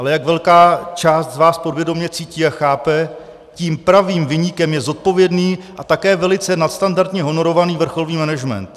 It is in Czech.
Ale jak velká část z vás podvědomě cítí a chápe, tím pravým viníkem je zodpovědný a také velice nadstandardně honorovaný vrcholný management.